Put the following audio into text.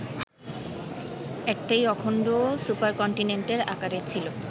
একটাই অখন্ড সুপারকন্টিনেন্টের আকারে ছিল